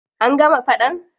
An gama faɗan.